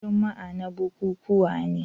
Juma'a na bukukuwa ne.